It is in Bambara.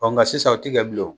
Ɔ nka sisan o ti kɛ bilen o